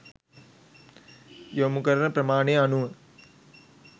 යොමු කරන ප්‍රමාණය අනුව